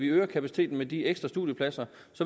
øger kapaciteten med de ekstra studiepladser